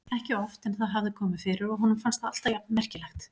Ekki oft en það hafði komið fyrir og honum fannst það alltaf jafn merkilegt.